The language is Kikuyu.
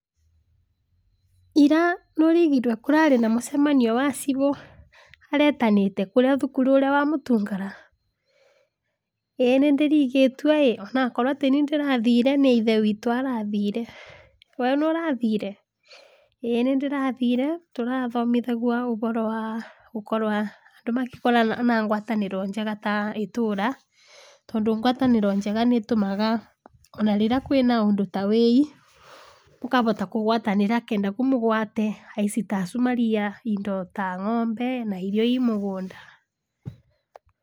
Ira nĩ ũraigwire kũrarĩ na mũcemaio wa cibũ aretanĩte kũrĩa thukuru ũrĩa wamũtungara? ĩĩ nĩ ndĩraigũĩtĩ ĩ onawakorwa tĩni ndĩrathire nĩ ithe wĩtũ arathire, weo nĩũrathire? ĩĩ nĩ ndĩrathire tũrathomithagua ũhoro wa andũ gũkorwa na ngwatanĩro njega ta ĩtũra, tondũ ngwatanĩro njega nĩ tũmaga ona rĩrĩa kwĩna ũndũ ta wĩi ũkahota kũgwatanĩra nĩgetha mũgwate aici ta acu maraia indo ta ng'ombe na irio i mũgũnda.